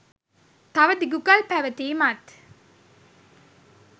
තව දිගු කල් පැවතීමත්